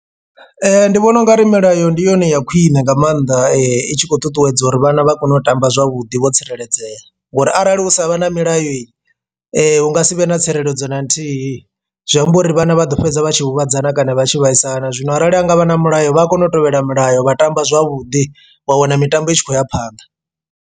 Ndi vhona ungari milayo ndi yone ya khwine nga maanḓa i tshi khou ṱuṱuwedza uri vhana vha kone u tamba zwavhuḓi vho tsireledzea ngori arali hu sa vhe na milayo hunga sivhe na tsireledzo na nthihi zwi amba uri vhana vha ḓo fhedza vha tshi huvhadzana kana vha tshi vhaisala, zwino arali hangavha na mulayo vha a kona u tevhela milayo vha tamba zwavhuḓi wa wana mitambo i tshi khou ya phanḓa.